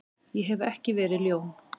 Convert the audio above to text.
Ég hef ekki verið ljón.